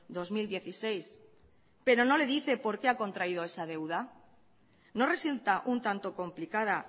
dos mil dieciséis pero no le dice por qué ha contraído esa deuda no resulta un tanto complicada